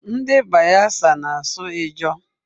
Ndị Bayelsa na-asụ Ijaw.